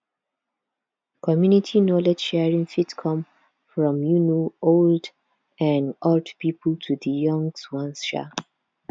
community knowledge sharing fit come from um old um old pipo to di young ones um